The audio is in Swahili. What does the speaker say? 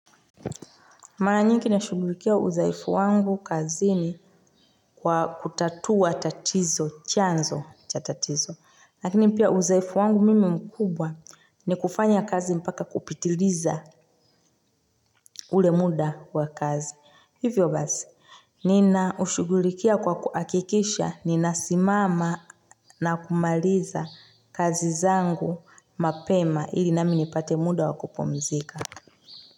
Maranyiki na shugulikia udhaifu wangu kazi ni kwa kutatua tatizo, chanzo cha tatizo. Lakini pia uzoefu wangu mimi mkubwa ni kufanya kazi mpaka kupitiriza ulemuda wa kazi. Hivyo bazi, nina ushugulikia kwa kuakikisha, nina simama na kumaliza kazi zangu mapema ili naminipate muda wakupomzika.